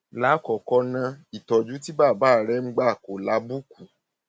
lákọọkọ ná ìtọjú tí bàbá rẹ ń gbà kò lábùkù